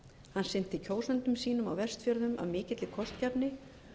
hann sinnti kjósendum sínum á vestfjörðum af mikill kostgæfni